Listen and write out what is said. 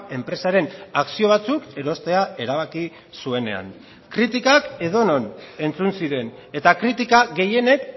enpresaren akzio batzuk erostea erabaki zuenean kritikak edonon entzun ziren eta kritika gehienek